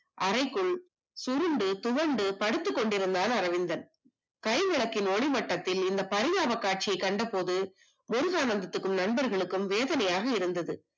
அறைக்குள் சுருண்டு துவண்டு படுத்துக் கொண்டிருந்தான் அரவிந்தன் கை விளக்கின் ஒலி மட்டத்தில் பரிதாபக் காட்சி கண்டபோது முருகானந்தத்திற்கும் நண்பர்களுக்கும் வேதனையாக இருந்தது